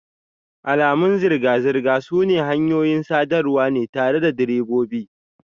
Alamun zirga-zirga sune hanyoyin sadarwa ne tare da direbobi.